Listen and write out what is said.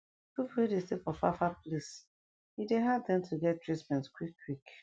pipu wey dey stay for far far place e dey hard dem to get treatment quick quick